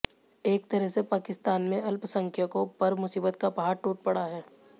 एक तरह से पाकिस्तान में अल्पसंख्यकों पर मुसीबत का पहाड़ टूट पड़ा है